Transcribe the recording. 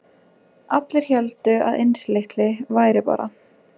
Allir héldu að Einsi litli væri bara